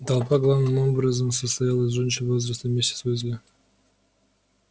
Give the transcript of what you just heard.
толпа главным образом состояла из женщин возраста миссис уизли